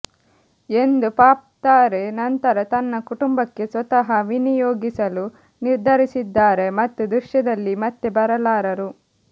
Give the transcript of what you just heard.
ಎಂದು ಪಾಪ್ ತಾರೆ ನಂತರ ತನ್ನ ಕುಟುಂಬಕ್ಕೆ ಸ್ವತಃ ವಿನಿಯೋಗಿಸಲು ನಿರ್ಧರಿಸಿದ್ದಾರೆ ಮತ್ತು ದೃಶ್ಯದಲ್ಲಿ ಮತ್ತೆ ಬರಲಾರರು